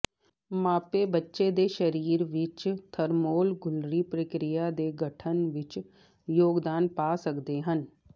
ਮਾਪੇ ਬੱਚੇ ਦੇ ਸਰੀਰ ਵਿਚ ਥਰਮੋਰਗੂਲਰੀ ਪ੍ਰਕਿਰਿਆ ਦੇ ਗਠਨ ਵਿਚ ਯੋਗਦਾਨ ਪਾ ਸਕਦੇ ਹਨ